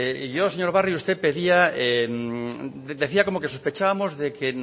yo señor barrio usted decía como que sospechábamos de que